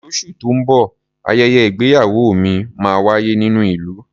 Lóṣù tó ń bọ̀, ayẹyẹ ìgbéyàwó ìmíì máa wáyé nínú ìlú.